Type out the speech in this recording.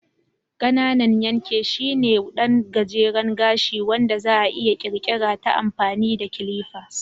Ƙananan yanke shine ɗan gajeren gashi wanda za'a iya ƙirƙirar ta amfani da clippers.